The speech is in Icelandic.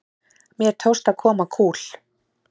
Mér tókst að koma kúl